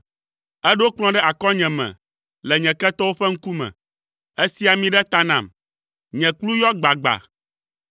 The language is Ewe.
Èɖo kplɔ̃ ɖe akɔnyeme le nye ketɔwo ƒe ŋkume. Èsi ami ɖe ta nam, nye kplu yɔ gbagba.